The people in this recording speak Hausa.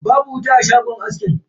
Babu wuta a shagon askin.